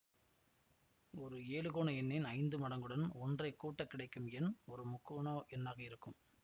ஒரு ஏழுகோண எண்ணின் ஐந்து மடங்குடன் ஒன்றை கூட்டக் கிடைக்கும் எண் ஒரு முக்கோண எண்ணாக இருக்கும்